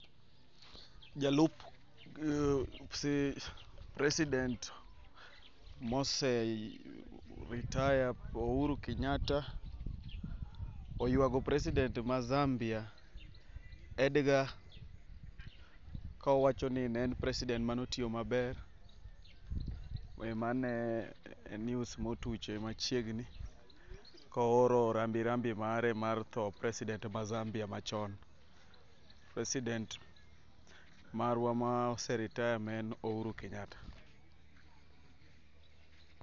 Jalup mm si president mose eh retire Uhuru Kenyatta, oywago president ma Zambia, Edgar, kowacho ni neen president manotio maber. Eh, mano e news motuche machiegni, kooro rambirambi mare mar thoo president ma Zambia machon. President marwa maose retire ma en Uhuru Kenyatta.